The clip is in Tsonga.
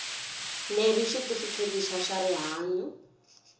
leri xitifiketi xa swa rihanyu